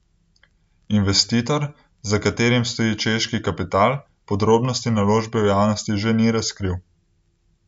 Investitor, za katerim stoji češki kapital, podrobnosti naložbe v javnosti že ni razkril.